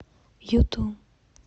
юту